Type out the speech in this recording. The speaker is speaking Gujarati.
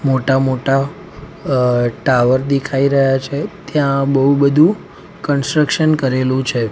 મોટા મોટા અ ટાવર દેખાઈ રહ્યા છે ત્યાં બહુ બધું કન્સ્ટ્રક્શન કરેલું છે.